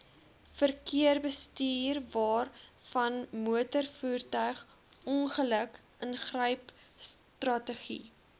verkeersbestuurwaarvanmotorvoertuig ongeluk ingrypstrategie